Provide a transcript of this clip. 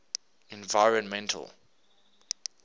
environmental